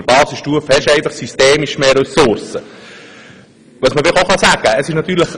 In einer Basisstufe hat man systemisch bedingt mehr Ressourcen zur Verfügung.